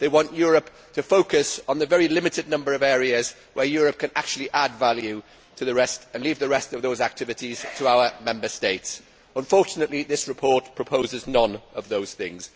They want Europe to focus on the very limited number of areas where Europe can actually add value, and leave the rest of the activities to our Member States. Unfortunately, this report proposes none of these things.